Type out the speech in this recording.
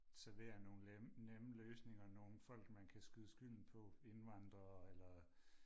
servere nogle nemme løsninger nogle folk man kan skyde skylden på invandrere eller